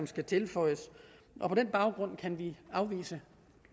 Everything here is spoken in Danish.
skal tilføjes på den baggrund kan vi afvise